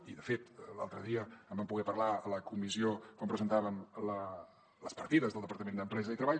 i de fet l’altre dia en vam poder parlar a la comissió quan presentàvem les partides del departament d’empresa i treball